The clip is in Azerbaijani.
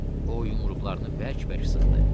O yumruqlarını bərk-bərk sıxdı.